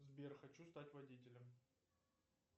сбер хочу стать водителем